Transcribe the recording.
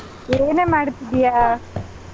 ಏನೇ ಮಾಡ್ತಿದ್ದೀಯಾ?